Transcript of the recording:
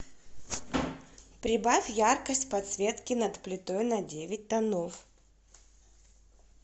прибавь яркость подсветки над плитой на девять тонов